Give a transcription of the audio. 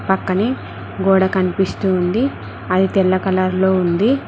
పక్కనే గోడ కనిపిస్తూ ఉంది అది తెల్ల కలర్ లో ఉంది.